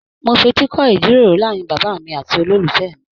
Mó f'eti kọ ijíròrò láàrin bàbá mí àti ololufẹ mí.